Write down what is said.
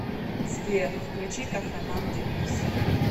сбер включи кахраман дэниз